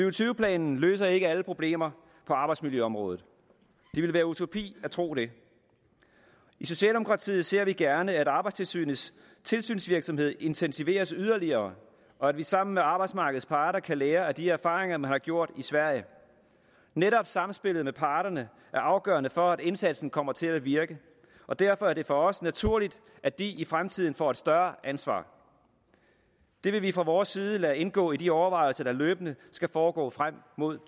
og tyve planen løser ikke alle problemer på arbejdsmiljøområdet det ville være utopi at tro det i socialdemokratiet ser vi gerne at arbejdstilsynets tilsynsvirksomhed intensiveres yderligere og at vi sammen med arbejdsmarkedets parter kan lære af de erfaringer man har gjort i sverige netop sammenspillet med parterne er afgørende for at indsatsen kommer til at virke og derfor er det for os naturligt at de i fremtiden får et større ansvar det vil vi fra vores side lade indgå i de overvejelser der løbende skal foregå frem mod